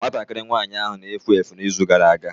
Nwatakịrị nwanyị ahụ na-efu efu n'izu gara aga.